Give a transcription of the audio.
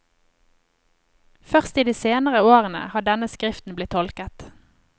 Først i de seinere årene har denne skriften blitt tolket.